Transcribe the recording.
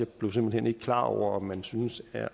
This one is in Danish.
blev simpelt hen ikke klar over om man synes at